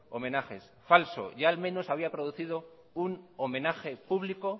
homenajes falso ya al menos se había producido un homenaje público